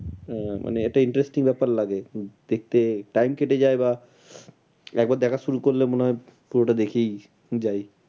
আহ মানে একটা interesting ব্যাপার লাগে। দেখতে time কেটে যায় বা একবার দেখা শুরু করলে মনে হয় পুরোটা দেখেই যাই।